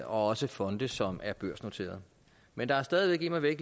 også fonde som er børsnoterede men der er stadig væk immervæk